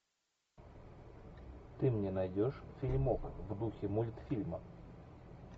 ты мне найдешь фильмок в духе мультфильма